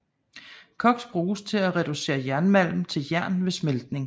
Koks bruges til at reducere jernmalm til jern ved smeltning